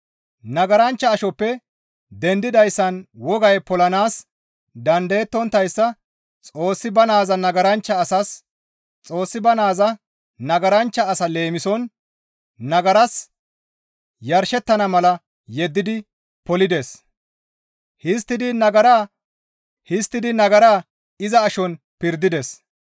Nagaranchcha ashoppe dendidayssan wogay polanaas dandayonttayssa Xoossi ba naaza nagaranchcha asa leemison nagaras yarshettana mala yeddidi polides; histtidi nagara iza ashon pirdides.